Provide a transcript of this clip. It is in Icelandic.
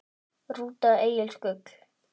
Rúta Egils Gull